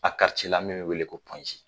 A karice la min be wele ko pɔnze